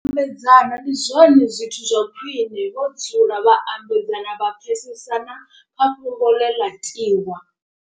Nyambedzano ndi zwone zwithu zwa khwiṋe vho dzula vha ambedzana vha pfesesana kha fhungo ḽe ḽa tiwa.